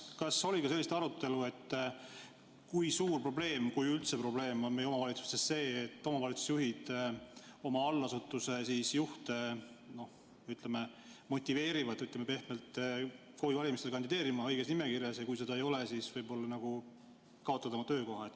Kas oli ka arutelu, et kui suur probleem – kui see üldse on probleem – on meie omavalitsustes see, et omavalitsusjuhid oma allasutuse juhte motiveerivad, ütleme pehmelt, KOV‑i valimistel kandideerima õiges nimekirjas ja kui sa seda ei tee, siis võib-olla kaotad oma töökoha?